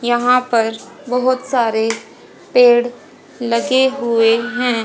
यहां पर बहुत सारे पेड़ लगे हुए हैं।